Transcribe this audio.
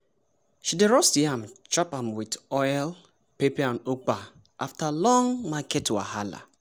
she dey roast yam chop am with oil pepper and ugba after long market wahala.